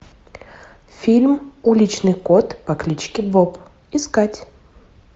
фильм уличный кот по кличке боб искать